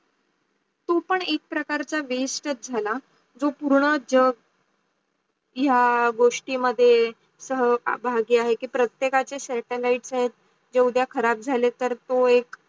तो पण एक प्रकारचा waste चाच झाला. जो पूर्ण जग या गोष्टी मध्ये सहभाग्य् आहे की प्रत्येकाछे satellite जे उद्या खराब झाले तर तो एक